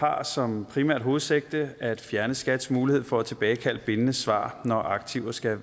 har som primært hovedsigte at fjerne skats mulighed for at tilbagekalde bindende svar når aktiver skal